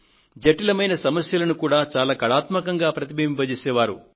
జటిలమైన సమస్యలను చాలా కళాత్మకంగా ప్రతిబింబింపచేసే వారు